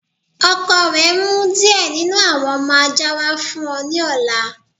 Ọkọ rẹ n mú díẹ̀ nínu awọn ọmọ ajá wa fún ọ ni ọ̀là.